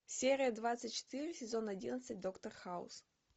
серия двадцать четыре сезон одиннадцать доктор хаус